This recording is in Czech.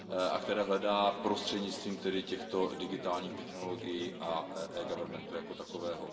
a které hledá prostřednictvím tedy těchto digitálních technologií a eGovernmentu jako takového.